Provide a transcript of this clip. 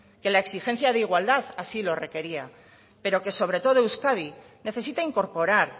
que la exigencia de igualdad así lo requería pero que sobre todo euskadi necesita incorporar